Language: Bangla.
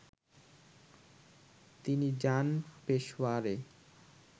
তিনি যান পেশওয়ারে